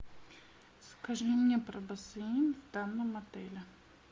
скажи мне про бассейн в данном отеле